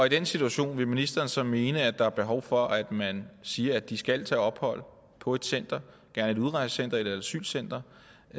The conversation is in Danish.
i den situation vil ministeren så mene at der er behov for at man siger at de skal tage ophold på et center gerne et udrejsecenter eller et asylcenter